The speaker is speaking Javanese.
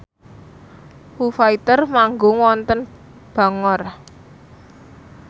Foo Fighter manggung wonten Bangor